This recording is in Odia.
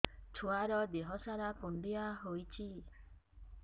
ଛୁଆର୍ ଦିହ ସାରା କୁଣ୍ଡିଆ ହେଇଚି